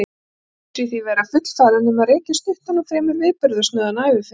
Hann telur sig því vera fullfæran um að rekja stuttan og fremur viðburðasnauðan æviferil.